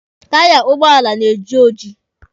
Taya ụgbọala na-eji oji.